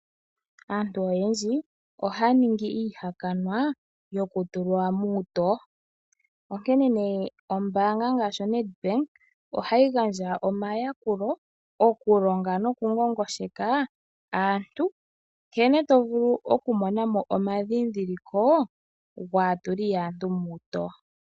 Aantu oyendji , oha yaningi iihakanwa yo ku tulwa muutoo. Ombaanga gaashi o-Nedbank oha yi gandja omayakulo noku ngongosheka aantu nkene tovulu okumonamo omandhindhiliko gaatuli yaantu mokatowo.